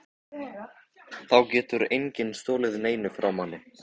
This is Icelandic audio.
Þá getur enginn stolið neinu frá manni.